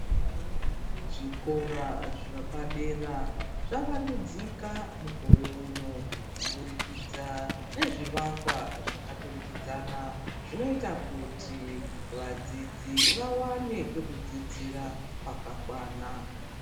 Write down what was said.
Zvikora zvepadera zvavandudzika mukore uno kubudikidza nezvivakwa zvakaturikidzana zvinoita kuti vadzidzi vawane pekudzidzira pakakwana